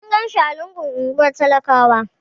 Mun ganshi a lungun unguwar talakawa.